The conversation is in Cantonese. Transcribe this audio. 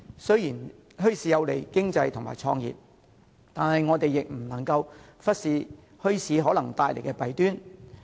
雖然墟市有利經濟及創業，但我們不能忽視墟市可能帶來的弊端。